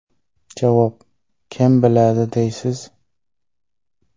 Javob: Kim biladi, deysiz.